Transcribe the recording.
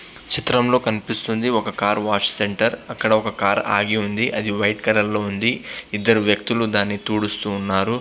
చిత్రం లో కనిపిస్తుంది ఒక కార్ వాష్ సెంటర్ అక్కడ ఒక కార్ ఆగి ఉంది ఇద్దరు వ్యక్తులు దాన్ని తుడుస్తూ ఉన్నారు.